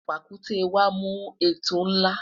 pàkúté wa mu etu nla